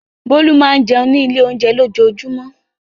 Bólú máa ń jẹun ní ilé-oúnjẹ lójoojúmọ́.